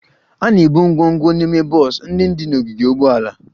A na-ebu ngwongwo n'ime bọs ndị dị n'ogige ụgbọala